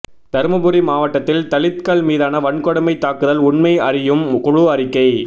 தர்மபுரி மாவட்டத்தில் தலித்கள் மீதான வன்கொடுமைத் தாக்குதல் உண்மை அறியும் குழு அறிக்கை